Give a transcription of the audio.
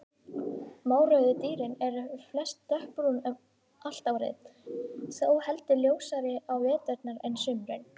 Mórauðu dýrin eru flest dökkbrún allt árið, þó heldur ljósari á veturna en sumrin.